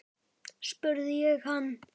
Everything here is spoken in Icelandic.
spurði ég hann.